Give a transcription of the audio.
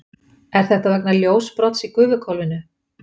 er þetta vegna ljósbrots í gufuhvolfinu